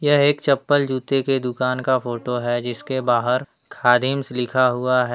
यह एक चप्पल जूते के दुकान का फोटो है जिसके बाहर खादिम्स लिखा हुआ है।